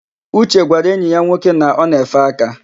Uche gwara enyi ya nwoke na o na-efe aka.